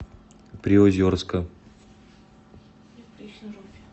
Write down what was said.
приозерска